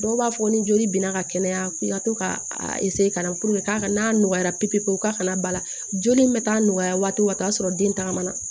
Dɔw b'a fɔ ni joli binna ka kɛnɛya ko i ka to ka a ka na k'a n'a nɔgɔya pepe pewu ka na ba la joli min bɛ taa nɔgɔya waati o waati o y'a sɔrɔ den tagama na